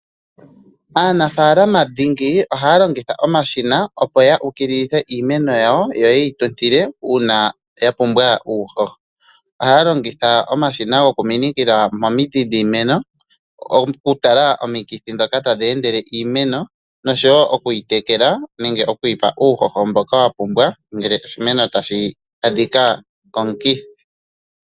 Aanafalamadhingi ohaya longitha omashina opo ya ukililithe iimeno yawo yo yeyi tutile uuna ya pumbwa uuhoho, ihaya longitha omashina gokuminikila momidhi dhiimeno okutala omikithi ndhoka tadhi endele iimeno noshowo okwiitekela nenge okuyi pa uuhoho mboka wa pumbwa ngele oshimeno tashi adhika komukithi.